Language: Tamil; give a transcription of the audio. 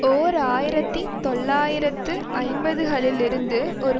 ஓர் ஆயிரத்தி தொள்ளாயிரத்து ஐம்பதுகளிலிருந்து ஒரு